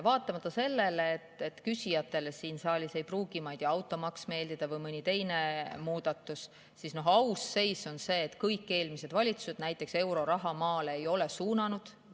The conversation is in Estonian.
Vaatamata sellele, et küsijatele siin saalis ei pruugi, ma ei tea, meeldida automaks või mõni teine muudatus, siis aus seis on see, et kõik eelmised valitsused näiteks euroraha maale ei suunanud.